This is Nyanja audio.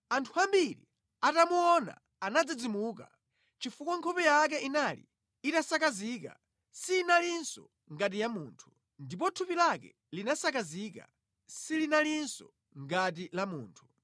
Anthu ambiri atamuona anadzidzimuka, chifukwa nkhope yake inali itasakazika; sinalinso ngati ya munthu. Ndipo thupi lake linasakazika; silinalinso ngati la munthu.